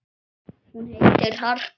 Hún heitir Harpa.